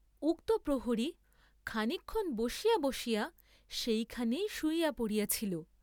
উক্ত প্রহরী খানিকক্ষণ বসিয়া বসিয়া সেইখানেই শুইয়া পড়িয়াছিল।